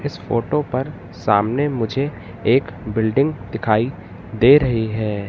इस फोटो पर सामने मुझे एक बिल्डिंग दिखाई दे रही है।